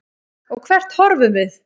Og hvert horfum við?